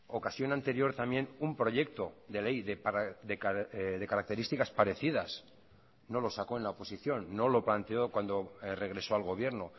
ocasión anterior también un proyecto de ley de características parecidas no lo sacó en la oposición no lo planteó cuando regresó al gobierno